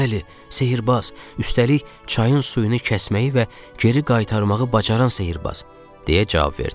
Bəli, sehrbaz, üstəlik çayın suyunu kəsməyi və geri qaytarmağı bacaran sehrbaz, deyə cavab verdi.